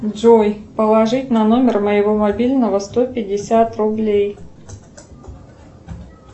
джой положить на номер моего мобильного сто пятьдесят рублей